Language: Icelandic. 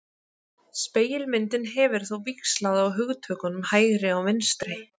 Spegilmyndin hefur þó víxlað á hugtökunum hægri og vinstri.